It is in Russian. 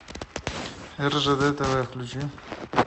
ржд тв включи